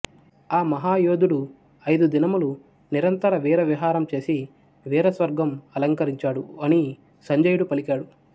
ఆ మహా యోధుడు అయిదు దినములు నిరంతర వీర విహారం చేసి వీర స్వర్గం అలంకరించాడు అని సంజయుడు పలికాడు